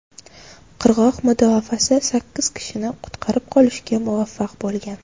Qirg‘oq mudofaasi sakkiz kishini qutqarib qolishga muvaffaq bo‘lgan.